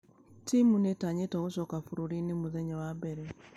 Timũ nĩĩtqnyĩtwo gũcoka bũrũri-inĩ mũthenya wa mbere.